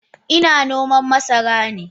Ina nome masaran ne.